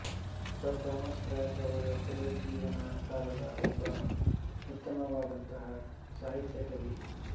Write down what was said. sir Thomas Wyatt ರವರು ಪುನರುಜ್ಜೀವನ ಕಾಲದ ಒಬ್ಬ ಉತ್ತಮವಾದಂತಹ ಸಾಹಿತ್ಯಕ ಕವಿ